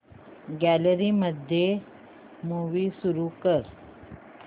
gallery मध्ये movie सुरू कर